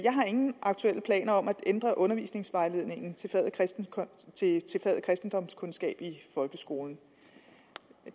har ingen aktuelle planer om at ændre undervisningsvejledningen til faget kristendomskundskab i folkeskolen